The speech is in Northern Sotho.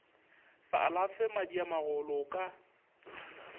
sa alafe madiamagolo o ka